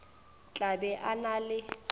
tla be a na le